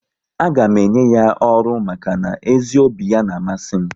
A ga m enye ya ọrụ maka na ezi obi ya n'amasi m